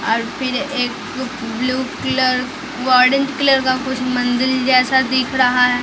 और फिर एक ब्लू कलर कलर का मंदील जैसा दिख रहा है।